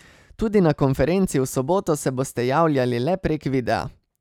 Tudi na konferenci v soboto se boste javljali le prek videa.